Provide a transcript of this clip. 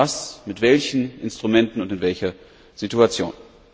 Wer macht was mit welchen Instrumenten und in welcher Situation?